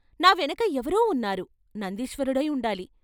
నా వెనక ఎవరో ఉన్నారు నందీశ్వరుడై ఉండాలి.